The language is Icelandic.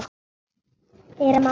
Heyri að mamma huggar hann.